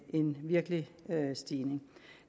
en virkelig stigning